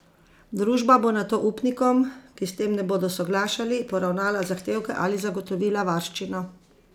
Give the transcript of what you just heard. Družba bo nato upnikom, ki s tem ne bodo soglašali, poravnala zahtevke ali zagotovila varščino.